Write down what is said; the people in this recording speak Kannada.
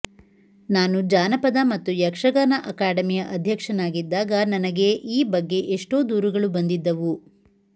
ನಾನು ಜಾನಪದ ಮತ್ತು ಯಕ್ಷಗಾನ ಅಕಾಡೆಮಿಯ ಅಧ್ಯಕ್ಷನಾಗಿದ್ದಾಗ ನನಗೇ ಈ ಬಗ್ಗೆ ಎಷ್ಟೋ ದೂರುಗಳು ಬಂದಿದ್ದವು